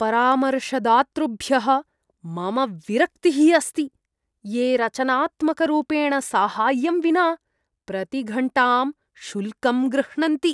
परामर्शदातृभ्यः मम विरक्तिः अस्ति ये रचनात्मकरूपेण साहाय्यं विना प्रतिघण्टां शुल्कं गृह्णन्ति।